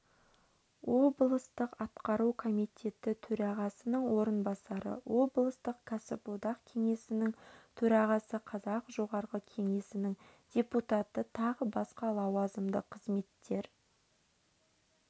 облыстық атқару комитеті төрағасының орынбасары облыстық кәсіподақ кеңесінің төрағасы қазақ жоғарғы кеңесінің депутаты тағы басқа лауазымды қызметтер